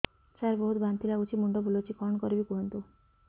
ସାର ବହୁତ ବାନ୍ତି ଲାଗୁଛି ମୁଣ୍ଡ ବୁଲୋଉଛି କଣ କରିବି କୁହନ୍ତୁ